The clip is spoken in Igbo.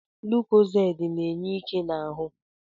Lukozedi na-enye ike n'ahụ